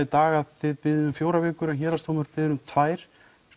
dag að þið biðjið um fjórar vikur en Héraðsdómur biður um tvo án